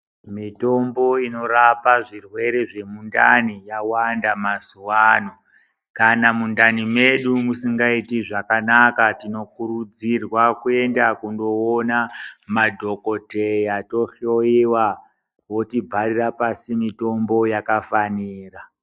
Mitombo inorapa zvirwere zvemundani yawanda mazuva ano kana mundani medu musingaiti zvakanaka tinokurudzirwa kuenda kundoona madhokodheya tohloiwa votbharira pasi mitombo yakafanira.